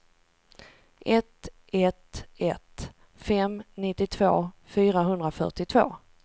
ett ett ett fem nittiotvå fyrahundrafyrtiotvå